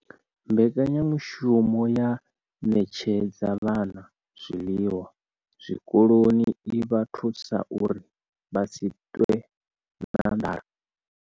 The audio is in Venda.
Mbekanyamushumo ya u ṋetshedza vhana zwiḽiwa zwikoloni i vha thusa uri vha si ṱwe na nḓala.